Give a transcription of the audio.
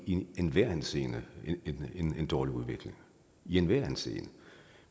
i en enhver henseende en dårlig udvikling i enhver henseende